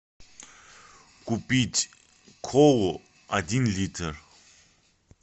купить колу один литр